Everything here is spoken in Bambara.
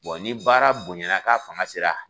ni baara bonya na k'a fanga sera